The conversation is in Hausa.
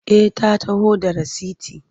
Eh a taho da rasiti.